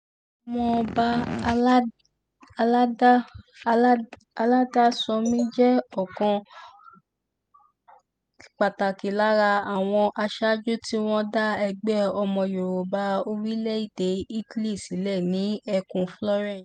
ọmọọba aládàsánmi jẹ́ ọ̀kan pàtàkì lára àwọn aṣáájú tí wọ́n dá ẹgbẹ́ ọmọ yorùbá orílẹ̀-èdè italy sílẹ̀ ní ẹkùn florence